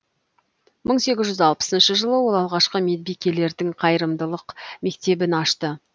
мың сегіз жүз алпысыншы жылы ол алғашқы медбикелердің қайырымдылық мектебін ашты